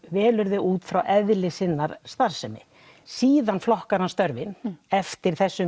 velur þau út frá eðli sinnar starfsemi síðan flokkar hann störfin eftir þessum